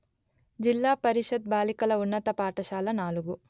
జిల్లా పరిషత్ బాలికల ఉన్నత పాఠశాల నాలుగు